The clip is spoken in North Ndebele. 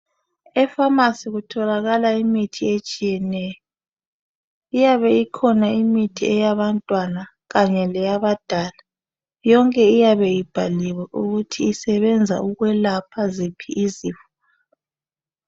Efamasi kutholakala imithi etshiyeneyo. Iyabe ikhona imithi eyabantwana kanye leyabadala, yonke iyabe ibhaliwe ukuthi isebenza ukwelapha ziphi izifo.